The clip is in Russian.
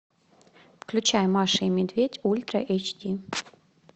включай маша и медведь ультра эйч ди